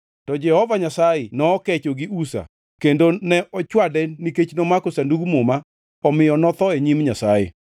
To Jehova Nyasaye nokecho gi Uza kendo ne ochwade nikech nomako Sandug Muma omiyo notho e nyim Nyasaye.